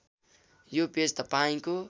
यो पेज तपाईँको